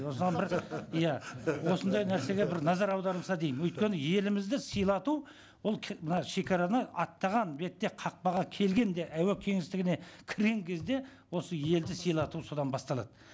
бір иә осындай нәрсеге бір назар аударылса деймін өйткені елімізді сыйлату ол мына шегараны аттаған бетте қақпаға келгенде әуе кеңістігіне кірген кезде осы елді сыйлату содан басталады